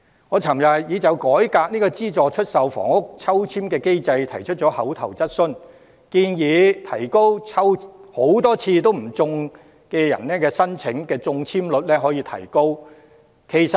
我昨天已就改革資助出售房屋抽籤機制提出口頭質詢，建議提高多次抽籤不中人士的中籤率。